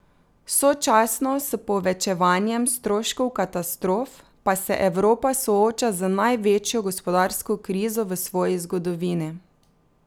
Sočasno s povečevanjem stroškov katastrof pa se Evropa sooča z največjo gospodarsko krizo v svoji zgodovini.